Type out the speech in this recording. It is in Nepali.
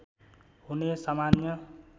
हुने सामान्य